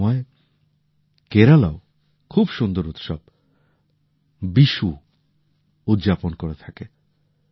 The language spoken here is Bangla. এই সময়ে কেরালাও খুব সুন্দর উৎসব বিশু উদযাপন করে থাকে